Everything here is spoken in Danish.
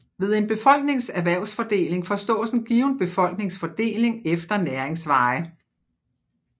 Ved en befolknings erhvervsfordeling forstås en given befolknings fordeling efter næringsveje